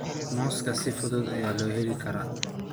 Muuska si fudud ayaa loo heli karaa.